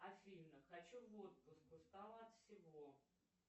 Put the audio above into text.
афина хочу в отпуск устала от всего